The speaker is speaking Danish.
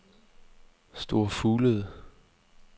Store Fuglede